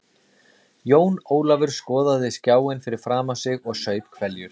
Jón Ólafur skoðaði skjáinn fyrir framan sig og saup hveljur.